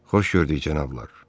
Xoş gördük cənablar.